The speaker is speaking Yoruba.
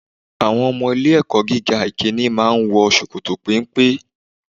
Àwọn ọmọ ilé ẹ̀kọ́ gíga ìkíni máa ń wọ ṣòkòtò péńpé.